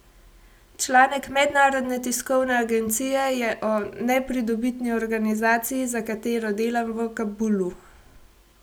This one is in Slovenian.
Članek mednarodne tiskovne agencije je, o nepridobitni organizaciji, za katero delam v Kabulu.